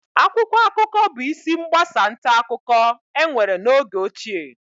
Akwụkwọ akụkọ bụ isi mgbasa nta akụkọ enwere n'oge ochie